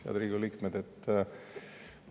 Head Riigikogu liikmed!